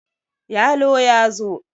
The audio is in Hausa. yalo ya zo!